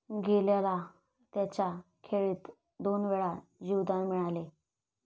गेलला त्याच्या खेळीत दोनवेळा जीवदान मिळाले.